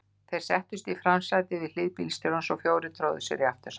Tveir settust í framsætið við hlið bílstjórans og fjórir tróðu sér í aftursætið.